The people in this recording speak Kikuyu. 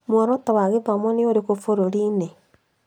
Mworoto wa gĩthomo nĩ ũrĩkũku bũrũri-inĩ?